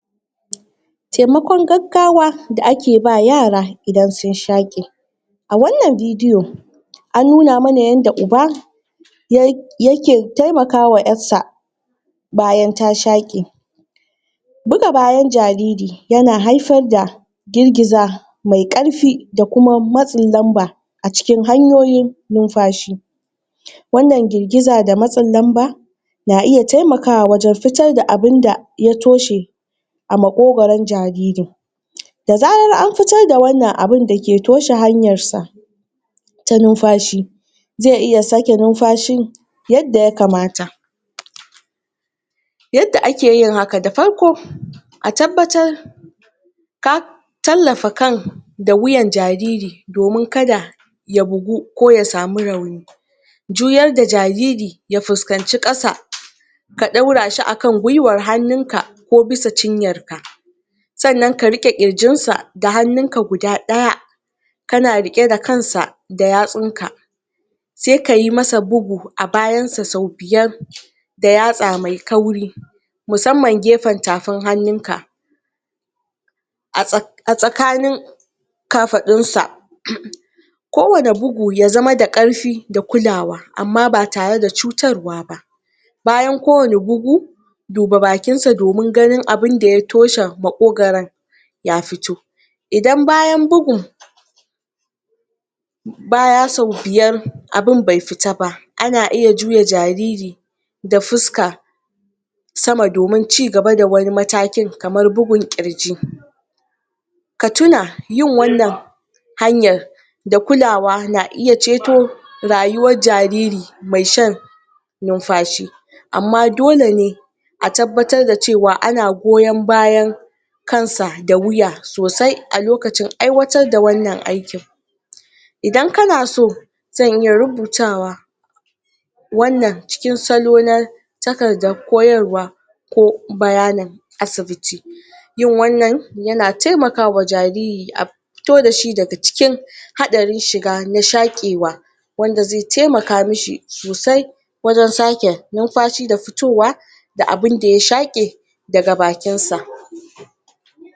temakon gaggawa da ake bawa yara idan sun shaqe a wannan bidiyo an nuna mana yanda uba yake temakwa yar sa bayan ta shaqe buga bayan jariri yana haifar da girgiza mai karfi dakuma matsin lamba acikin hanyoyin numfashi wannan girgiza da matsin lamba na iya temakawa wajen fitoda abun da ya toshe a maƙogoron jariri da zarar an fito da wannan abun da ke toshe hanyar sa ta numfashi zai iya sake numfashin yadda ya kamata yadda ake yin haka da farko a tabbatar ka tallafa kan da wuyan jariri domin kada ya bugu ko yasami rauni duk yadda jariri ya fuskanci kasa ka daurashi akan gwuiwar hannunka ko bisa cinyarka sannan ka riƙe ƙirjinsa da hannunka guda daya kana riƙe da kansa da yatsunka sai kayi masa bugu a bayansa sau biyar da yatsa mai kauri musamman gefen tafin hannunka a tsakanin ka fadunsa ko wani bugu yazama da karfi da kulawa amma ba tare da cutarwa ba bayan ko wani bugu duba bakin sa ka gano me ya toshe maƙogoron ya fito idan bayan bugun baya son abun bai fita ba ana iya juya jariri da fuska sama domin cigaba da matakin kamar bugun ƙirji ka tuna yin wannan hanyar da kulawa na iya ceto rayuwar jariri mai sha numfashi amma dole ne a tabbatar da cewa ana goyon bayan kansa da wuya a lokacin aiwatar da wannan aikin idan kana so zan iya rubutawa wannan cikin salo takardan koyarwa ko bayanin asibiti yin wannan yana temakawa jariri fito da shi daga cikin hadarin shiga na shaƙewa wanda zai temaka mishi sosai wurin sake numfashi da fitowa daga abun da ya shaƙe da daga bakinsa